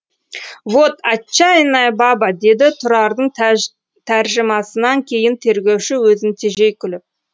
вот отчаянная баба деді тұрардың тәржімасынан кейін тергеуші өзін тежей күліп